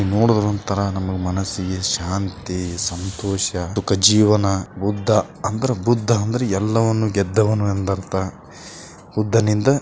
ನೋಡಿದರೆ ಒಂತರ ನಮಗೆ ಮನಸ್ಸಿಗೆ ಶಾಂತಿ ಸಂತೋಷ ದುಃಖ ಜೀವನ ಬುದ್ಧ ಅಂದ್ರ ಬುಧ ಎಲ್ಲವನ್ನು ಗೆದ್ದವನು ಎಂದರ್ಥ ಬುದ್ಧನಿಂದ --